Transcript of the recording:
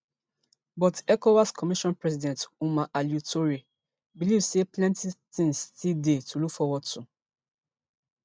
but ecowas commission president omar alieu touray believe say plenty tins still dey to look forward to